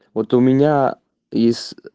вот у меня из